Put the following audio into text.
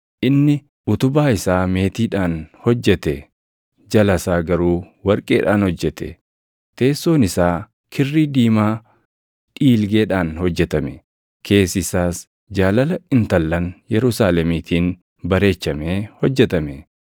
Inni utubaa isaa meetiidhaan hojjete; jala isaa garuu warqeedhaan hojjete. Teessoon isaa kirrii diimaa dhiilgeedhaan hojjetame; keessi isaas jaalala intallan Yerusaalemiitiin bareechamee hojjetame.